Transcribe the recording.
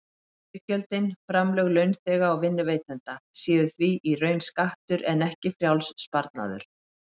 Iðgjöldin, framlög launþega og vinnuveitenda, séu því í raun skattur en ekki frjáls sparnaður.